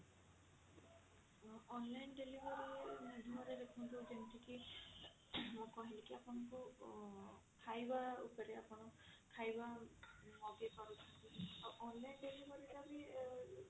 online delivery ମାଧ୍ୟମ ରେ ଦେଖନ୍ତୁ ଯେମତି କି ମୁଁ କହିଲି କି ଆପଣଙ୍କୁ ଉଁ ଖାଇବା ଉପରେ ଆପଣ ଖାଇବା ମଗେଇ ପାରୁଛନ୍ତି ଆଉ online delivery ର ବି